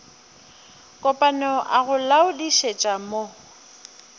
kopana a go laodišetša mo